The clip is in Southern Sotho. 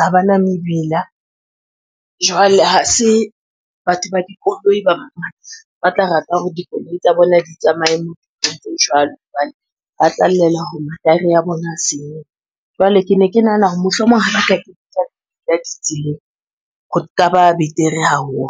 ha ba na mebila. Jwale ha se batho ba dikoloi ba bangata ba tla rata hore dikoloi tsa bona di tsamaye tse jwalo hobane ba tla llela hore mataere a bona a senyaha. Jwale ke ne ke nahana hore mohlomong ha ba ka kenyetswa di tseleng ho ka ba betere haholo.